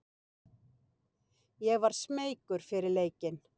Ég var smeykur fyrir leikinn.